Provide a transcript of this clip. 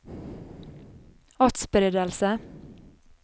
atspredelse